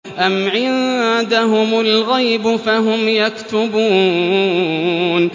أَمْ عِندَهُمُ الْغَيْبُ فَهُمْ يَكْتُبُونَ